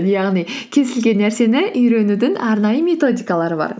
яғни кез келген нәрсені үйренудің арнайы методикалары бар